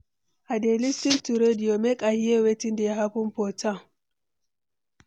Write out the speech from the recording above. I dey lis ten to radio, make I hear wetin dey happen for town.